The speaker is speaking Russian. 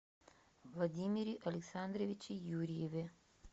владимире александровиче юрьеве